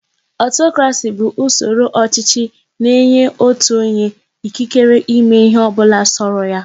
Ọtọkrasị bụ usoro ọchịchị na-enye otu onye ikikere ịme ịhe ọbụla sọrọ ya.